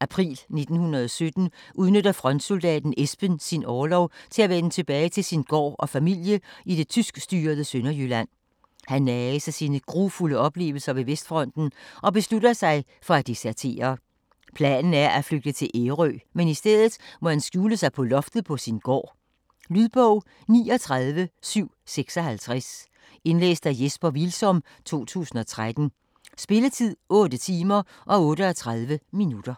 april 1917 udnytter frontsoldaten Esben sin orlov til at vende tilbage til sin gård og familie i det tyskstyrede Sønderjylland. Han nages af sine grufulde oplevelser ved Vestfronten og beslutter sig for at desertere. Planen er at flygte til Ærø, men i stedet må han skjule sig på loftet på sin gård. Lydbog 39756 Indlæst af Jesper Hvilsom, 2013. Spilletid: 8 timer, 38 minutter.